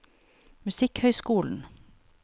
musikkhøyskolen